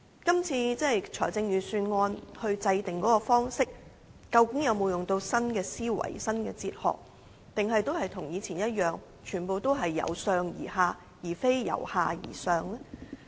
這次制訂預算案的方式究竟有否採用新思維和新哲學，還是跟以前一樣，全部也是由上而下，而非由下而上呢？